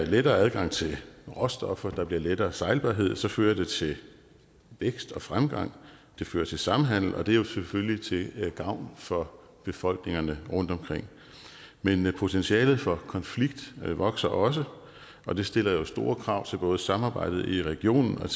lettere adgang til råstoffer og der bliver lettere sejlbarhed så fører det til vækst og fremgang det fører til samhandel og det er jo selvfølgelig til gavn for befolkningerne rundtomkring men potentialet for konflikt vokser også og det stiller store krav til både samarbejdet i regionen og